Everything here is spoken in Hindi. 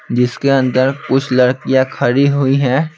जिसके अंदर कुछ लड़कियां खड़ी हुई हैं।